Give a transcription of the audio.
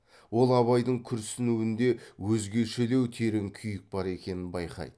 ол абайдың күрсінуінде өзгешелеу терең күйік бар екенін байқайды